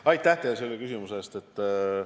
Aitäh teile selle küsimuse eest!